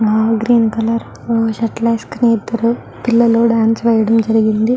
ఆ green colour shirt లు వేసుకుని ఇద్దరు పిల్లలు డాన్స్ వేయడం జరిగినది.